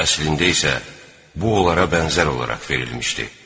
Əslində isə bu onlara bənzər olaraq verilmişdi.